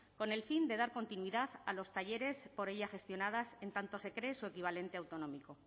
con el fin de dar continuidad a los talleres por ella gestionadas en tanto se cree su equivalente autonómico